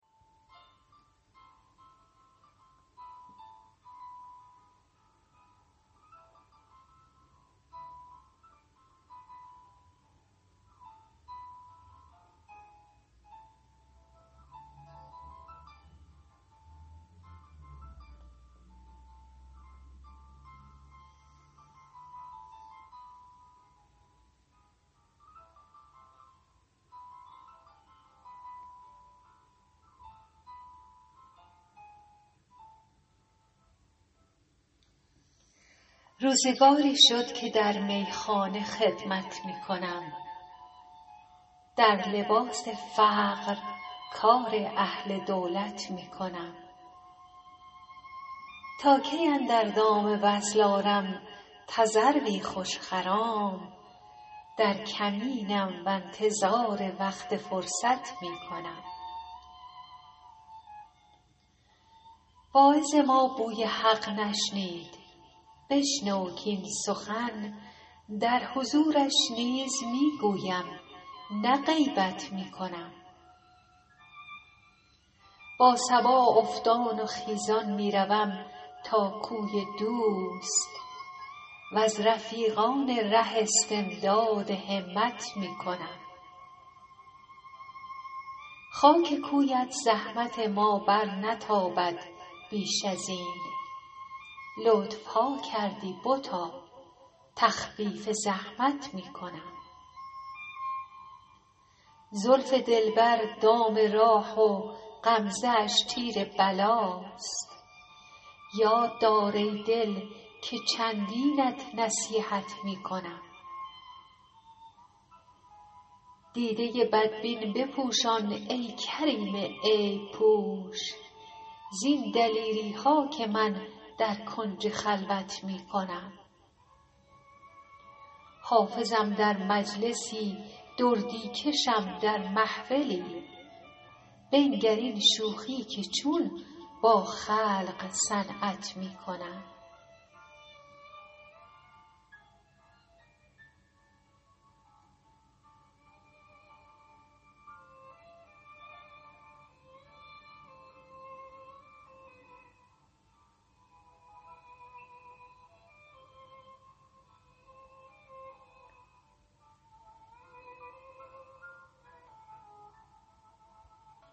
روزگاری شد که در میخانه خدمت می کنم در لباس فقر کار اهل دولت می کنم تا کی اندر دام وصل آرم تذروی خوش خرام در کمینم و انتظار وقت فرصت می کنم واعظ ما بوی حق نشنید بشنو کاین سخن در حضورش نیز می گویم نه غیبت می کنم با صبا افتان و خیزان می روم تا کوی دوست و از رفیقان ره استمداد همت می کنم خاک کویت زحمت ما برنتابد بیش از این لطف ها کردی بتا تخفیف زحمت می کنم زلف دلبر دام راه و غمزه اش تیر بلاست یاد دار ای دل که چندینت نصیحت می کنم دیده بدبین بپوشان ای کریم عیب پوش زین دلیری ها که من در کنج خلوت می کنم حافظم در مجلسی دردی کشم در محفلی بنگر این شوخی که چون با خلق صنعت می کنم